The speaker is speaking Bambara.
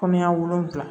Kɔnɔya wolonwula